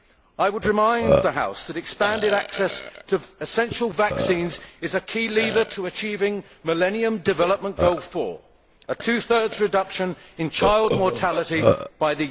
I would remind the House that expanded access to essential vaccines is a key lever to achieving Millennium Development Goal 4 a two thirds reduction in child mortality by